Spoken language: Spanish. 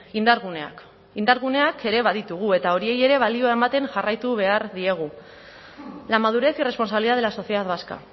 indarguneak indarguneak ere baditugu eta horiei ere balioa ematen jarraitu behar diegu la madurez y responsabilidad de la sociedad vasca